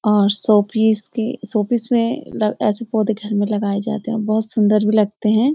और showpiece showpiece में भी ऐसे पौधे घर में लगाए जाते है बहुत सुंदर भी लगते हैं।